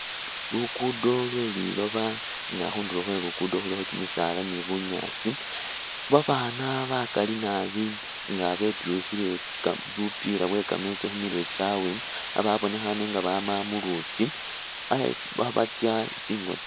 Luguudo lwe liloba nga khundulo khwe Luguudo khulikho kimisaala ni bunyaasi. Babaana bakali nabi nga betyukhile ka bupila bwe kameetsi khu mirwe kyabwe ababonekhaane nga bama mu luutsi eyi khabatsya tsingo tsyabwe.